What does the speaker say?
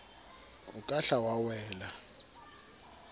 o ka hla wa wela